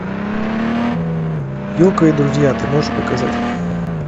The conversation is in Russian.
йоко и друзья ты можешь показать